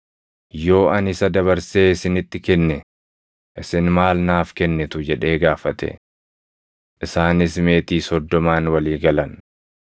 “Yoo ani isa dabarsee isinitti kenne isin maal naaf kennitu?” jedhee gaafate. Isaanis meetii soddomaan walii galan.